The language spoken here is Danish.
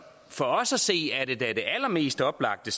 for os at se er det allermest oplagte